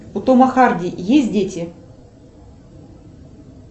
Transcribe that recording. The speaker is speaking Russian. у тома харди есть дети